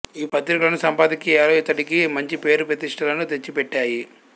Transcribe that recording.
ఈ పత్రికలోని సంపాదకీయాలు ఇతడికి మంచి పేరు ప్రతిష్ఠలను తెచ్చిపెట్టాయి